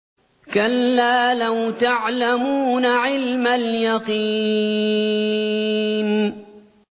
كَلَّا لَوْ تَعْلَمُونَ عِلْمَ الْيَقِينِ